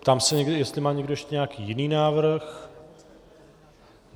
Ptám se, jestli má někdo ještě nějaký jiný návrh.